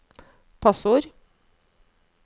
passord